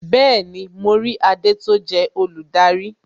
Bẹẹni, mo rí adé tó jẹ́ olùdarí